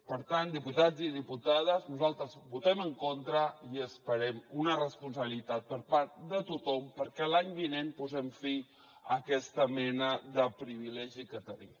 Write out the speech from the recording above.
per tant diputats i diputades nosaltres hi votem en contra i esperem una responsabilitat per part de tothom perquè l’any vinent posem fi a aquesta mena de privilegi que tenim